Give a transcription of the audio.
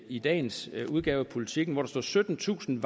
i dagens udgave af politiken hvor der står at syttentusind